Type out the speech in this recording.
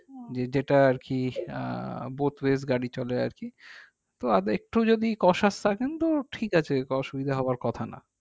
যেটা আর কি আহ both way গাড়ি চলে আর কি তো আরেকটু যদি থাকে কিন্তু ঠিক আছে অসুবিধা হবার কথা না